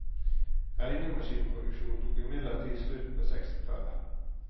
Regnemaskinproduksjonen tok imidlertid slutt på sekstitallet.